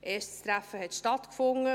Ein erstes Treffen fand statt.